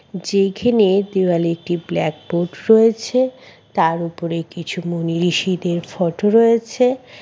যেখানে দেওয়ালে একটি ব্ল্যাক বোর্ড রয়েছে। তার উপরে কিছু মনিঋষীদের ফটো রয়েছে।